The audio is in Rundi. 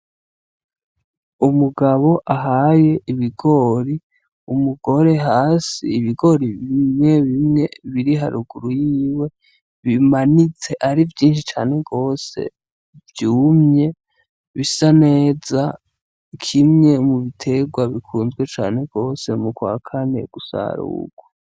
Umugabo ahaye ibigori umugore hasi ibigori bimwe bimwe biri haruguru yiwe bimanitse ari vyinshi cane rwose vyumye bisa neza kimwe mu biterwa bikunzwe cane rwose mu kwakae ameye gusara ugo.